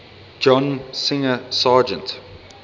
john singer sargent